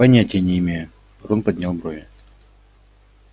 понятия не имею рон поднял брови